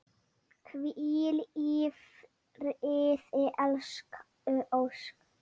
Hvíl í friði elsku Ósk.